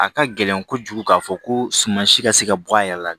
A ka gɛlɛn kojugu k'a fɔ ko suma si ka se ka bɔ a yɛrɛ la